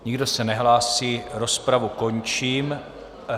Nikdo se nehlásí, rozpravu končím.